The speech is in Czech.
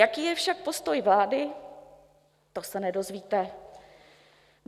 Jaký je však postoj vlády, to se nedozvíte.